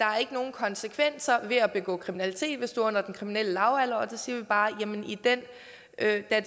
konsekvenser ved at begå kriminalitet hvis du er under den kriminelle lavalder og der siger vi bare at da